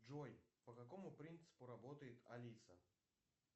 джой по какому принципу работает алиса